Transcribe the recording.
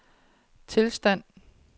tilstand